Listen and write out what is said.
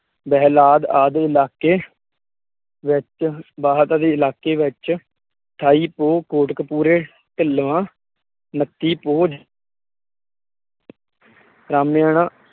ਬੇਹਲਾਦ ਆਦਿ ਇਲਾਕੇ, ਵਿੱਚ ਇਲਾਕੇ ਵਿੱਚ, ਠਾਈ ਪੋਹ ਕੋਟਕਪੂਰੇ ਢਿਲਵਾਂ, ਉਨੱਤੀ ਪੋਹ ਰਾਮੇਆਣਾ